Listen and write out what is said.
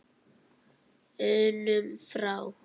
unum frá.